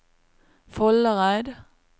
Foldereid